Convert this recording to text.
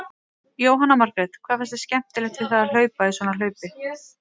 Jóhanna Margrét: Hvað finnst þér skemmtilegt við það að hlaupa í svona hlaupi?